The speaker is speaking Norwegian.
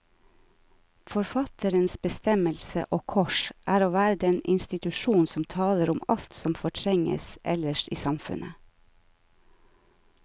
Forfatterens bestemmelse, og kors, er å være den institusjon som taler om alt som fortrenges ellers i samfunnet.